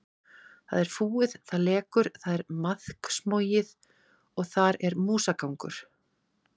Það er fúið, það lekur, það er maðksmogið og þar er músagangur.